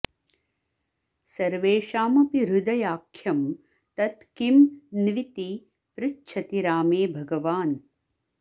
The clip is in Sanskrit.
सर्वेषामपि हृदयाख्यं तत् किं न्विति पृच्छति रामे भगवान्